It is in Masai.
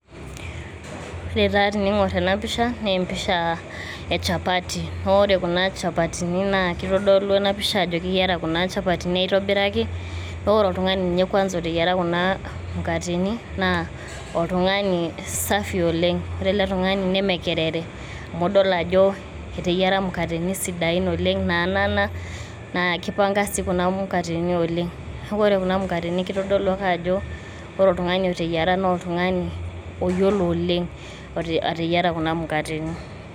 Ore taa teningor ena pisha ne empisha e chapati ,naa ore kuna chapatini naa kitodolu ena pisha ajo keyiara kuna chapatini aitobiraki naa ore oltungani ninye kwanza oteyiera mukateni naa oltungani safi oleng. ore ele tungani neme kerere amu idol ajo eteyiera mukateni sidain oleng naanana ,naa kipanga sii kuna mukateni oleng. niaku ore kuna mukateni kitodolu ake ajo ore otungani oteyiera naa oltungani oyiolo oleng ateyiera kuna mukateni.